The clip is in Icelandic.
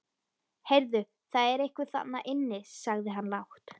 Heyrðu, það er einhver þarna inni sagði hann lágt.